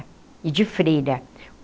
E de freira.